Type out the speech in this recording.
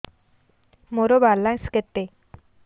ମୋର ବାଲାନ୍ସ କେତେ